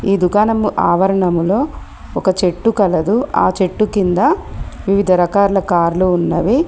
ఈ దుకాణం ఆవరణములో ఒక చెట్టు కలదు ఆ చెట్టు కింద వివిధ రకాల కార్లు ఉన్నవి.